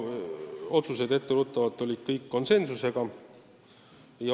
Otsused tehti, olgu etteruttavalt öeldud, kõik konsensuslikult.